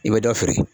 I bɛ dɔ feere